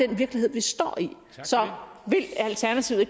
den virkelighed vi står i så vil alternativet